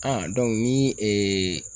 ni